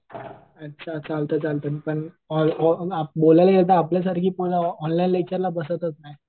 अच्छा चालतंय चालतंय मी पण बोलायला गेलं तर आपल्यासारखी पोरं ऑफलाईन लेक्चरला बसतच नाही.